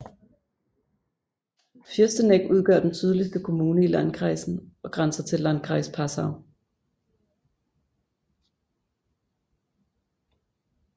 Fürsteneck udgør den sydligste kommune i landkreisen og grænser til Landkreis Passau